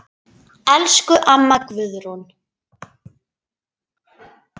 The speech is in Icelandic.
Elsku amma Guðrún.